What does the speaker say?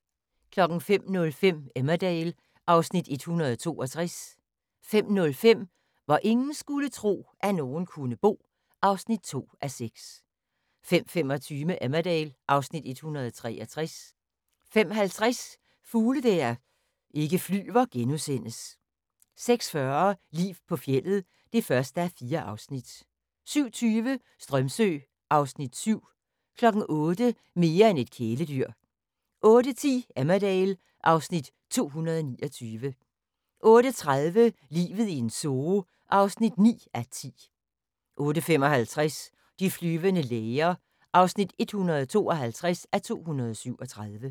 05:05: Emmerdale (Afs. 162) 05:05: Hvor ingen skulle tro, at nogen kunne bo (2:6) 05:25: Emmerdale (Afs. 163) 05:50: Fugle der ikke flyver * 06:40: Liv på fjeldet (1:4) 07:20: Strömsö (Afs. 7) 08:00: Mere end et kæledyr 08:10: Emmerdale (Afs. 229) 08:30: Livet i en zoo (9:10) 08:55: De flyvende læger (152:237)